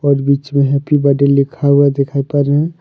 और बीच में हैप्पी बर्थडे लिखा हुआ दिखाई पर रहे--